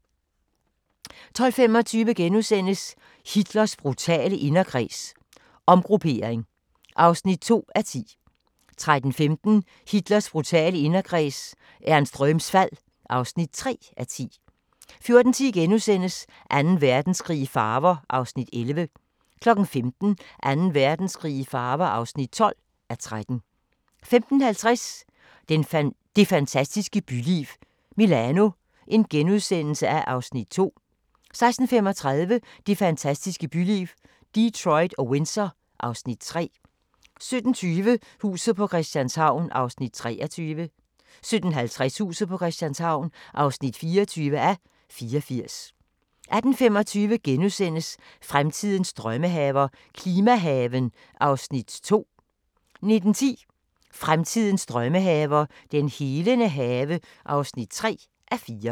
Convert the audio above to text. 12:25: Hitlers brutale inderkreds – omgruppering (2:10)* 13:15: Hitlers brutale inderkreds – Ernst Röhms fald (3:10) 14:10: Anden Verdenskrig i farver (11:13)* 15:00: Anden Verdenskrig i farver (12:13) 15:50: Det fantastiske byliv – Milano (Afs. 2)* 16:35: Det fantastiske byliv – Detroit og Windsor (Afs. 3) 17:20: Huset på Christianshavn (23:84) 17:55: Huset på Christianshavn (24:84) 18:25: Fremtidens drømmehaver – klimahaven (2:4)* 19:10: Fremtidens drømmehaver – den helende have (3:4)